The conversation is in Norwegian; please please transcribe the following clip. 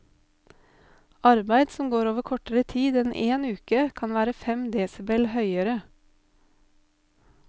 Arbeid som går over kortere tid enn én uke, kan være fem desibel høyere.